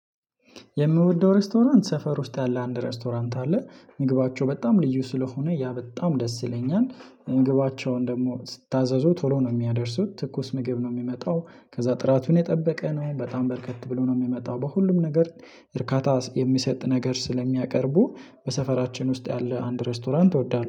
የምወደው ሬስቶራንት ሰፈር ውስጥ ያለ አንድ ሬስቶራንት አለ ምግባቸው በጣም ልዩ ስለሆነ ያ በጣም ደስ ይለኛል። ምግባቸውን ደግሞ ሲታዘዙ ቶሎ ነው የሚያደርሱት ትኩስ ምግብ ነው የሚመጣው። ከዛ ጥራቱን የጠበቀ ነው በጣም በረከት ብሎ ነው የሚመጣው በሁሉም ነገር እርካታ የሚሰጥ ነገር ስለሚያቀርቡ። በሰፈራችን ውስጥ ያለ አንድ ሬስቶራንት እወዳለሁ